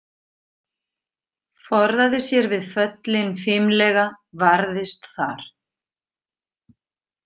Forðaði sér við föllin fimlega varðist þar.